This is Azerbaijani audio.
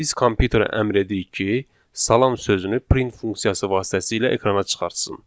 Biz kompüterə əmr edirik ki, salam sözünü print funksiyası vasitəsilə ekrana çıxartsın.